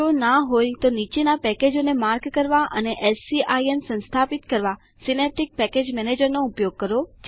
જો ના હોય તો નીચેના પેકેજોને માર્ક કરવા અને એસસીઆઈએમ સંસ્થાપિત કરવા સીનેપ્ટીક પેકેજ મેનેજરનો ઉપયોગ કરો